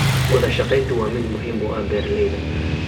Wadashaqeyntu waa mid muhiim u ah beeralayda.